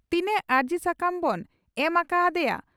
ᱛᱤᱱᱟᱝ ᱟᱨᱡᱤ ᱥᱟᱠᱟᱢ ᱵᱚᱱ ᱮᱢ ᱟᱠᱟ ᱦᱟᱫᱤᱭᱟ?